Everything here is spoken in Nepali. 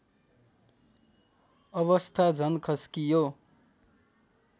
अवस्था झन खस्कियो